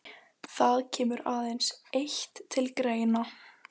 Það kemur aðeins eitt til greina.